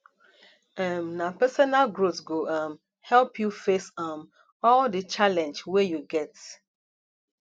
um na personal growth go um help you face um all di challenge wey you get